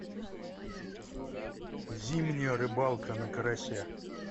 зимняя рыбалка на карася